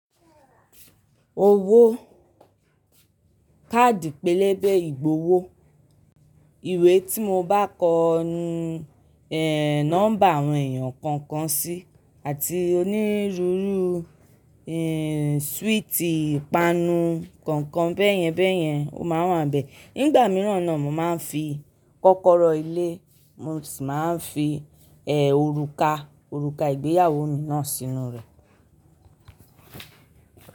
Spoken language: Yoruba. Owó. Kaadi pélébé ìgbowó. Ìwé tí mo bá kọ nọ́mbà àwọn èèyàn kọ̀ọ̀kan sí, àti onírúurú, súwìtì, ìpanu nkọ̀ọ̀kan bẹ́ẹ̀yẹn bẹ́ẹ̀yẹn o máa wà níbẹ̀. Nígbà mìíràn náà mo màá fi kọ́kọ́rọ́ ilé, mo sì máa ń fi òrùka, òrùka ìgbéyàwó mi náà sínú rẹ̀.